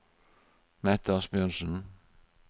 Mette Asbjørnsen